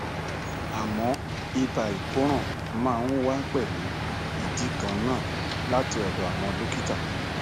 àmọ ibà ìkóràn máa ń wá pẹlú ìdí kan náà láti ọdọ àwọn dọkítà